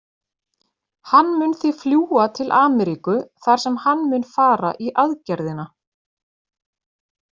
Hann mun því fljúga til Ameríku þar sem hann mun fara í aðgerðina.